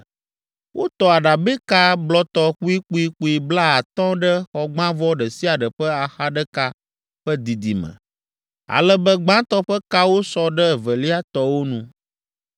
Wotɔ aɖabɛka blɔtɔ kpuikpuikpui blaatɔ̃ ɖe xɔgbãvɔ ɖe sia ɖe ƒe axa ɖeka ƒe didime, ale be gbãtɔ ƒe kawo sɔ ɖe evelia tɔwo nu.